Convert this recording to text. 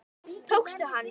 Tókstu hann?